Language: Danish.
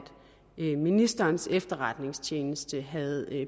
ministerens efterretningstjeneste havde